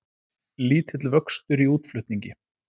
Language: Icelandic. Lítill vöxtur í útflutningi